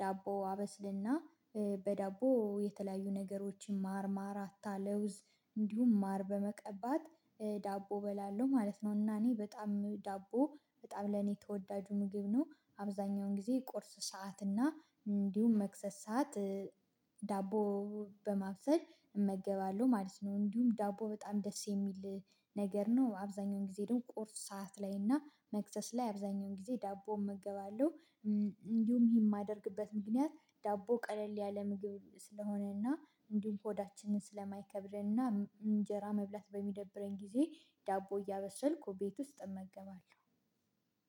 ዳቦ አበስልና በዳቦ የተለያዩ ነገሮችን ማርማራታ ለውዝ እንዲሁም ማር በመቀባት ዳቦ እበላለሁ ማለት ነው። እና እኔ በጣም ዳቦ በጣም ለኔ ተወዳጁ ምግብ ነው። አብዛኛውን ጊዜ ቁርስ ሰዓት እና እንዲሁም መክሰስ ሰዓት ዳቦ በማብሰል እመገባለሁ ማለት ነው። እንዲሁም ዳቦ በጣም ደስ የሚል ነገር ነው። አብዛኛውን ጊዜ ደግሞ ቁርስ ሰዓት ላይ እና መክሰስ ላይ አብዛኛውን ጊዜ ዳቦ እመገባለሁ። እንዲሁም ይሄን የማደርግበት ምክንያት ዳቦ ቀለል ያለ ምግብ ስለሆነ እና እንዲሁም ሆዳችንን ስለማይከብደንና እንጀራ መብላት በሚደብረን ጊዜ ዳቦ እያበሰልኩ ቤት ውስጥ እመገባለሁ